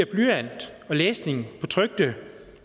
blyant og læsning på trykte